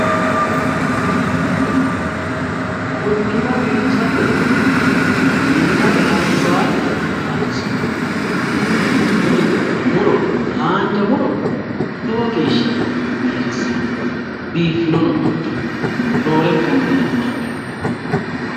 quchumma biifisate yine minna te albaanni kaansoonniti tini muro haanja muro lowo geeshsha biiffannote roorenkanni tini haqqicho.